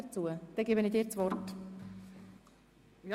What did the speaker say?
– Sie haben das Wort. .